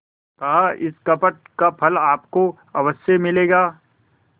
कहाइस कपट का फल आपको अवश्य मिलेगा